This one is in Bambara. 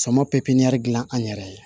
Sama pepiniyɛri dilan an yɛrɛ ye